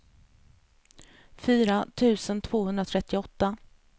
fyra tusen tvåhundratrettioåtta